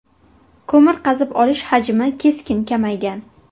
Ko‘mir qazib olish hajmi keskin kamaygan.